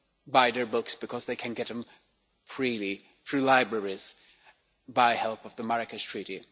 buy their books because they can get them freely through libraries with the help of the Marrakesh Treaty.